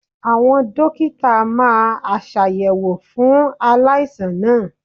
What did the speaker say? Àwọn Dókítà máa aṣàyẹ̀wò fún aláìsàn náà.